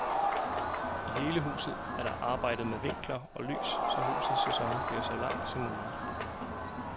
I hele huset er der arbejdet med vinkler og lys, så husets sæson bliver så lang som mulig.